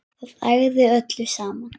Það ægði öllu saman